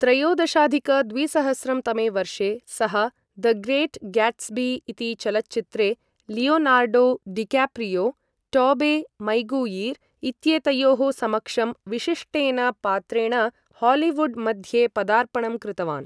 त्रयोदशाधिक द्विसहस्रं तमे वर्षे सः, द ग्रेट् ग्याट्स्बी इति चलच्चित्रे, लियोनार्डो डिक्याप्रियो, टोबे मैगुइर् इत्येतयोः समक्षं विशिष्टेन पात्रेण हालीवुड् मध्ये पदार्पणं कृतवान्।